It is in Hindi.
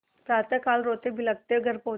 प्रातःकाल रोतेबिलखते घर पहुँचे